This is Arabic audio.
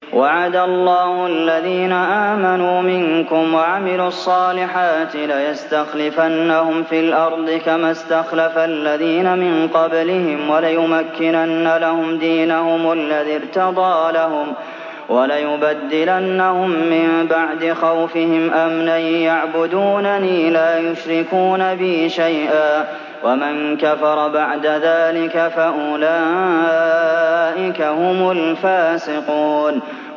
وَعَدَ اللَّهُ الَّذِينَ آمَنُوا مِنكُمْ وَعَمِلُوا الصَّالِحَاتِ لَيَسْتَخْلِفَنَّهُمْ فِي الْأَرْضِ كَمَا اسْتَخْلَفَ الَّذِينَ مِن قَبْلِهِمْ وَلَيُمَكِّنَنَّ لَهُمْ دِينَهُمُ الَّذِي ارْتَضَىٰ لَهُمْ وَلَيُبَدِّلَنَّهُم مِّن بَعْدِ خَوْفِهِمْ أَمْنًا ۚ يَعْبُدُونَنِي لَا يُشْرِكُونَ بِي شَيْئًا ۚ وَمَن كَفَرَ بَعْدَ ذَٰلِكَ فَأُولَٰئِكَ هُمُ الْفَاسِقُونَ